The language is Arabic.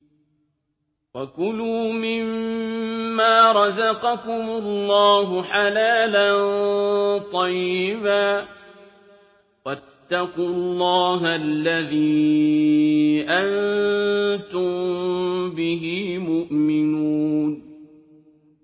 وَكُلُوا مِمَّا رَزَقَكُمُ اللَّهُ حَلَالًا طَيِّبًا ۚ وَاتَّقُوا اللَّهَ الَّذِي أَنتُم بِهِ مُؤْمِنُونَ